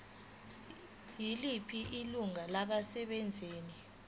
yiliphi ilungu labasebenzi